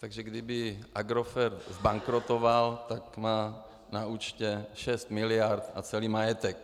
Takže kdyby Agrofert zbankrotoval, tak má na účtě 6 mld. na celý majetek.